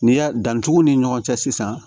N'i y'a dantugu ni ɲɔgɔn cɛ sisan